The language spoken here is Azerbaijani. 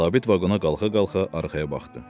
Sabit vaqona qalxa-qalxa arxaya baxdı.